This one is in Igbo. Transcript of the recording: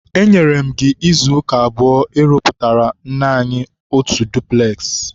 enyere m gị izuụka abụọ ịrụpụtara nne anyi otu dupules!